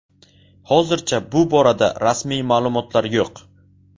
Hozircha bu borada rasmiy ma’lumotlar yo‘q.